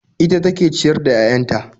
Ita take ciyar da 'ya'yan ta